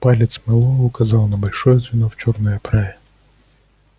палец мэллоу указал на большое звено в чёрной оправе